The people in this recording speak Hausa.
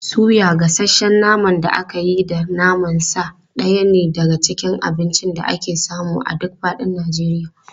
Suya, gasasshen naman da aka yi da naman sa ɗaya ne daga cikin abincin da ake samu a duk faɗin Najeriya.